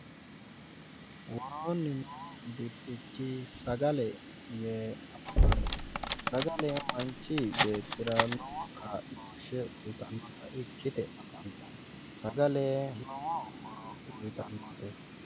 Woroonni noo brxichi sagale yee afamanno sagale yaa manchi beetira lowo kaa'looshshe uyitannota ikkite afantanno sagale lowo horo uyitannota.